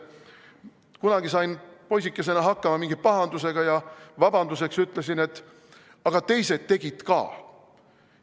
Kunagi sain poisikesena hakkama mingi pahandusega ja vabanduseks ütlesin: "Aga teised tegid ka!